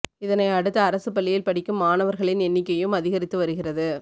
இதனை அடுத்து அரசு பள்ளியில் படிக்கும் மாணவர்களின் எண்ணிக்கையும் அதிகரித்து வருகிறது